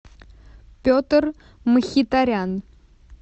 петр мхитарян